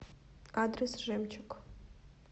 адрес жемчуг